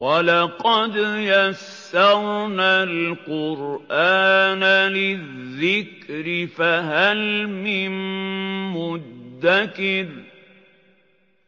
وَلَقَدْ يَسَّرْنَا الْقُرْآنَ لِلذِّكْرِ فَهَلْ مِن مُّدَّكِرٍ